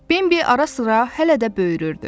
Bambi ara-sıra hələ də böyürürdü.